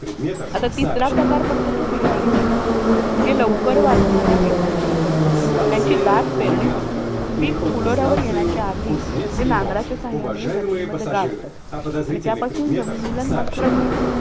आता तिसरा प्रकार पडतो तो हिरवळीची खतं. म्हणजे लवकर वाढणाऱ्या पिकांची निवड करुन, त्यांची दाट पेरणी करुन पीक फुलोऱ्यावर येण्याच्या आधी ते नांगराच्या सहाय्याने जमिनीमध्ये गाडतात. आणि त्यापासून जमिनीला नत्र मिळतं.